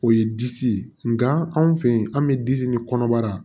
O ye disi ye nka anw fɛ ye an bɛ disi ni kɔnɔbara